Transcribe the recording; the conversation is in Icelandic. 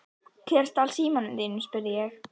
Hver stal símanum þínum? spurði ég.